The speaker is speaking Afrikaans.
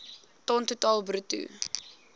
ton totaal bruto